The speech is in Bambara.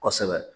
Kosɛbɛ